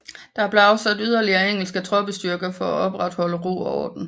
Der blev afsat yderligere engelske troppestyrker for at opretholde ro og orden